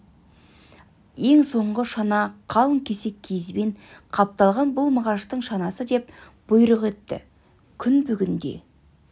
ең соңғы шана қалың кесек киізбен қапталған бұл мағаштың шанасы деп бұйрық етті күн бүгін де